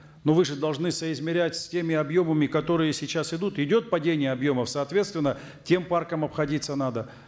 но вы же должны соизмерять с теми объемами которые сейчас идут идет падение объемов соответственно тем парком обходиться надо